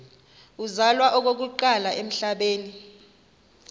uzalwa okokuqala emhlabeni